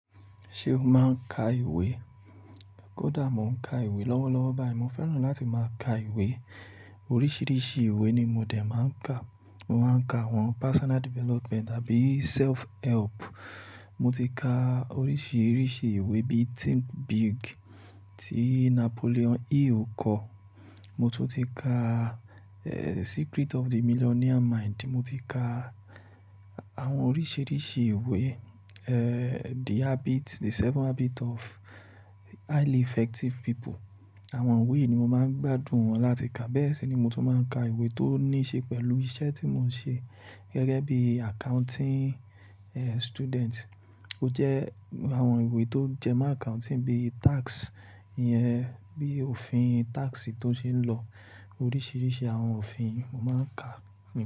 Ṣé o máa ń ka ìwé? Kódà mo ń ka ìwé lọ́wọ́lọ́wọ́ báyìí, mo fẹ́ràn láti máa ka ìwé. Oríṣiríṣi ìwé ni mo dè máa ń kà. Mo máa ń ka àwọn personal development tàbí self help. Mo ti ka oríṣiríṣi ìwé bí Think Big tí Napoleon Hill kọ. Mo tún ti ka, eh, Secret of the Millionaire Mind, mo ti ka àwọn oríṣiríṣi ìwé, eh, The Habit-- The Seven Habit of Highly Effective People. Àwọn ìwé yìí ni mo máa ń gbádùn wọn láti kà, bẹ́ẹ̀ sì ni mo tún máa ń ka ìwé tó ní ṣe pẹ̀lú iṣẹ́ tí mo ń ṣe gẹ́gẹ́ bí accounting, eh, student. Ó jẹ́ àwọn ìwé tó jẹ́ mon accounting bí tax yẹn, bí òfin tax tó ṣe ń lọ, oríṣiríṣi àwọn òfin mo máa ń kà nìyẹn.